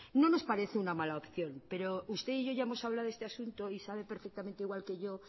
no nos parece una mala opción pero usted y yo ya hemos hablado de este asunto pero sabe perfectamente igual que yo